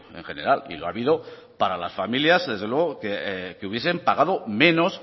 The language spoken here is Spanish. en general y lo ha habido para las familias desde luego que hubiesen pagado menos